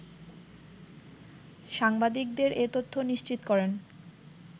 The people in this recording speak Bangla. সাংবাদিকদের এ তথ্য নিশ্চিত করেন